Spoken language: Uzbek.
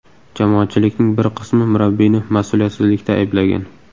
Jamoatchilikning bir qismi murabbiyni mas’uliyatsizlikda ayblagan.